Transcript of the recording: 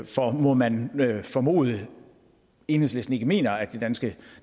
for må man formode at enhedslisten ikke mener at det danske